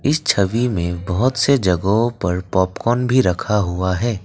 इस छवि में बहुत से जगहों पर पॉपकॉर्न भी रखा हुआ है।